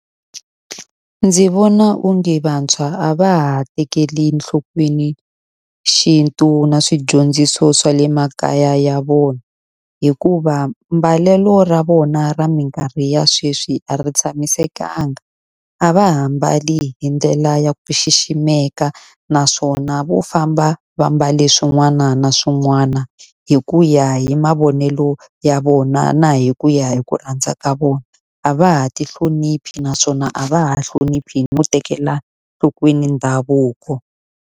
Ndzi vona onge vantshwa a va ha tekeli enhlokweni xintu na swidyondziso swa le makaya ya vona, hikuva mbalelo ra vona ra minkarhi ya sweswi a ri tshamisekanga. A va ha mbali hi ndlela ya ku xiximeka, naswona vo famba va mbale swin'wana na swin'wana hi ku ya hi mavonelo ya vona na hi ku ya hi ku rhandza ka vona. A va ha ti hloniphi naswona a va ha hloniphi no tekela enhlokweni ndhavuko.